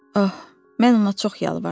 Ah, mən ona çox yalvardım.